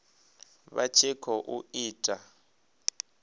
vha tshi khou i ita